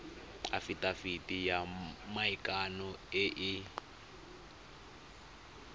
afitafiti ya maikano e e